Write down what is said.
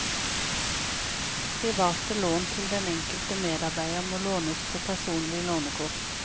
Private lån til den enkelte medarbeider må lånes på personlig lånekort.